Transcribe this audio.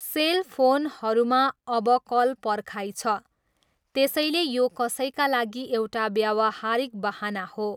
Sale फोनहरूमा अब call पर्खाइ छ, त्यसैले यो कसैका लागि एउटा व्यावहारिक बहाना हो।